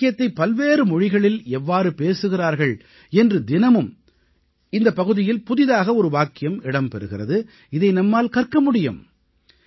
ஒரு வாக்கியத்தைப் பல்வேறு மொழிகளில் எவ்வாறு பேசுகிறார்கள் என்று தினமும் இந்தப் பகுதியில் புதியதாக ஒரு வாக்கியம் இடம் பெறுகிறது இதை நம்மால் கற்க முடியும்